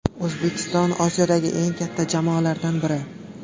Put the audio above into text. O‘zbekiston Osiyodagi eng katta jamoalardan biri.